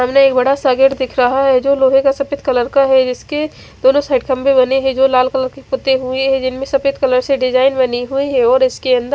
सामने एक बड़ा सा गेट दिख रहा है जो लोहे का सफ़ेद कलर का है जिसके दोनों साइड खम्बे बने जो लाल कलर के पोते हुए है जिनमे सफ़ेद कलर से डिज़ाइन बनी हुई है और ईसके अंदर--